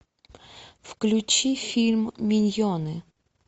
включи фильм миньоны